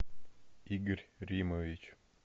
игорь римович